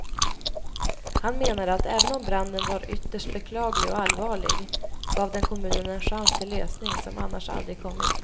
Han menade att även om branden var ytterst beklaglig och allvarlig gav den kommunen en chans till lösning som annars aldrig kommit.